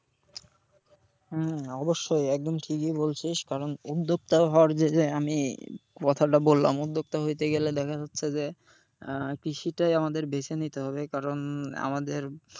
হম অবশ্যই একদম ঠিকই বলছিস কারণ উদ্যোক্তা হওয়ার যে যে আমি কথাটা বললাম উদ্যোক্তা হইতে গেলে দেখা যাচ্ছে যে আহ কৃষিটাই আমাদের বেছে নিতে হবে, কারণ আমাদের,